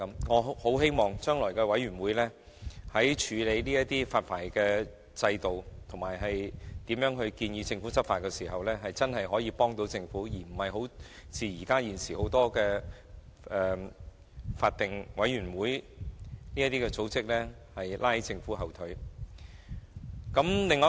我很希望這些委員會日後在處理發牌工作及建議政府如何執法時，真的可以幫助政府，而不是像現時多個法定委員會般拉着政府的後腿。